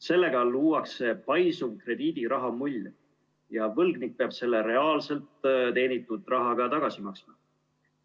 Sellega luuakse paisuv krediidiraha mull ja võlgnik peab selle reaalselt teenitud rahaga tagasi maksma.